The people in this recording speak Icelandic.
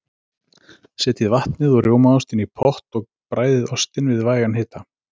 Setjið vatnið og rjómaostinn í pott og bræðið ostinn við vægan hita.